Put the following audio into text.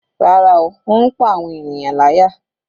Rárá, ó ń pá àwọn ènìyàn láyà.